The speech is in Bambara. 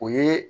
O ye